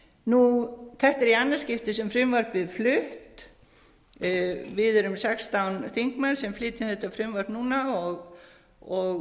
um þetta er í annað skipti sem frumvarpið er flutt við erum sextán þingmenn sem flytjum þetta frumvarp núna og